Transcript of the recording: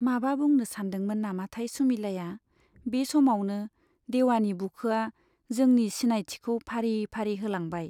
माबा बुंनो सानदोंमोन नामाथाय सुमिलाया, बे समावनो देवानि बुखोआ जोंनि सिनायथिखौ फारि फारि होलांबाय।